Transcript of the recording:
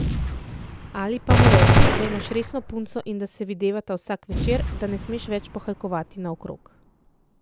Ali pa mu reci, da imaš resno punco in da se videvata vsak večer, da ne smeš več pohajkovati naokrog.